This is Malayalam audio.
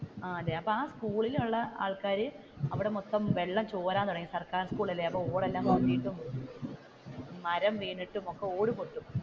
ആഹ് അതെ ആ സ്കൂളിൽ ഉള്ള ആൾക്കാർ അവിടെ മൊത്തം വെള്ളം ചോരാൻ തുടങ്ങി സർക്കാർ സ്കൂൾ അല്ലെ മരം വീണിട്ടും ഒക്കെ ഓട് പൊട്ടും